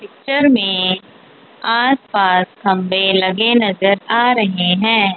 Picture में आस पास खम्भे लगे नज़र आ रहे है।